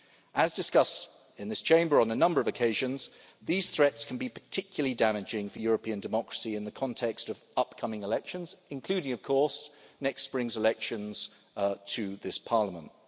As discussed in this Chamber on a number of occasions, these threats can be particularly damaging for European democracy in the context of upcoming elections, including of course next spring's elections to this Parliament.